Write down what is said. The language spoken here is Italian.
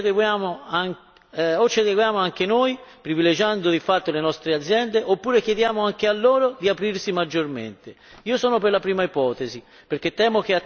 Abbiamo quindi due strade percorribili o ci adeguiamo anche noi, privilegiando di fatto le nostre aziende, oppure chiediamo anche a loro di aprirsi maggiormente.